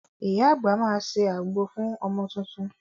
Iya àgbà máa ṣe àgbo fún ọmọ tuntun.